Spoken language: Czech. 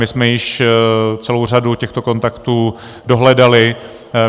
My jsme již celou řadu těchto kontaktů dohledali.